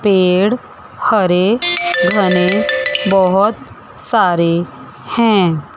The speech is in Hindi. पेड़ हरे भरे बहोत सारे हैं।